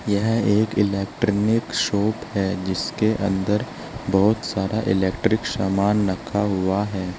यह एक electronic shop है जिसके अंदर बहुत सारा इलेक्ट्रिक सामान रखा हुआ है।